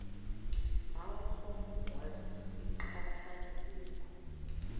malcolm west iqhathanzipho